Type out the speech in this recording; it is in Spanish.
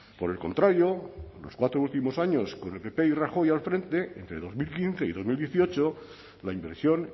por el contrario los cuatro últimos años con el pp y rajoy al frente entre dos mil quince y dos mil dieciocho la inversión